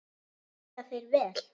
Borga þeir vel?